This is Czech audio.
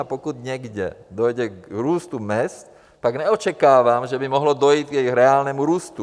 A pokud někde dojde k růstu mezd, tak neočekávám, že by mohlo dojít k jejich reálnému růstu.